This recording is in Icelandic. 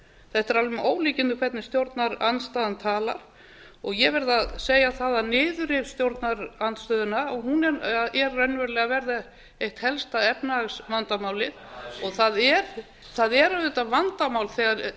þetta er alveg með ólíkindum hvernig stjórnarandstaðan talar og ég verð að segja það að niðurrif stjórnarandstöðunnar er raunverulega að verða eitt helsta efnahagsvandamálið og það er auðvitað vandamál þegar